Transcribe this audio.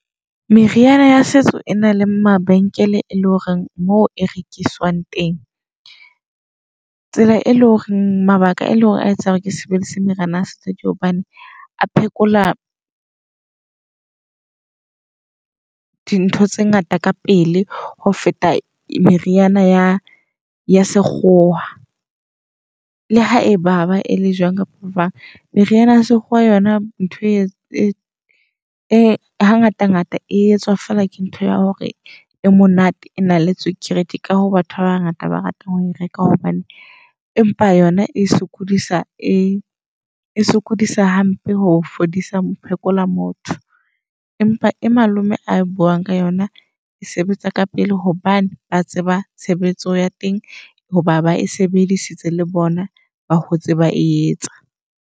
Meriana ya setso e na le mabenkele e le horeng moo e rekiswang teng. Tsela e leng hore mabaka e leng hore a etsa hore ke sebedise meriana ya setso, ke hobane a phekola dintho tse ngata ka pele ho feta meriana ya ya sekgowa. Le ha ebaba e le jwang kapa jwang meriana ya sekgowa yona ntho e e ha ngata ngata e etswa fela ke ntho ya hore e monate e na le tswekere. Ke ka ho batho ba bangata ba ratang ho reka hobane empa yona e sokodisa e esokodisa hampe ho fodisa ho phekola motho. Empa e malome a buang ka yona e sebetsa ka pele hobane ba tseba tshebetso ya teng. Hoba ba e sebedisitse le bona ba hotse ba e etsa.